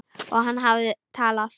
Og hann hafði talað.